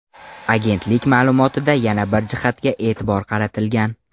Agentlik ma’lumotida yana bir jihatga e’tibor qaratilgan.